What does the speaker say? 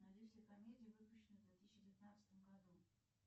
найди все комедии выпущенные в две тысячи девятнадцатом году